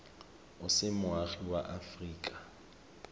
o se moagi wa aforika